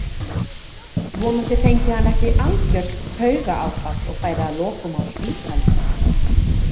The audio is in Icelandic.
Vonandi fengi hann ekki algjört taugaáfall og færi að lokum á spítala.